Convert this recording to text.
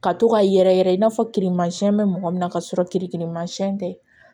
Ka to ka yɛrɛyɛrɛ i n'a fɔ kirimasiyɛn bɛ mɔgɔ min na ka sɔrɔ tɛ